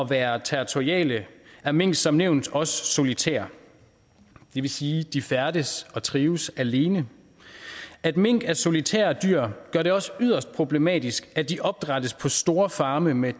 være territoriale er mink som nævnt også solitære det vil sige at de færdes og trives alene at mink er solitære dyr gør det også yderst problematisk at de opdrættes på store farme med